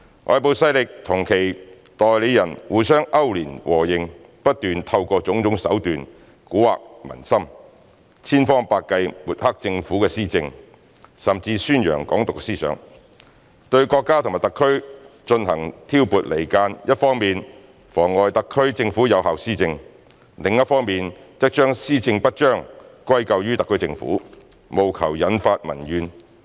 外部勢力與其代理人互相勾聯、和應，不斷透過種種手段蠱惑民心，千方百計抹黑政府施政，甚至宣揚"港獨"思想，對國家和特區進行挑撥離間，一方面妨礙特區政府有效施政，另一方面則將施政不彰歸咎於特區政府，務求引發民怨。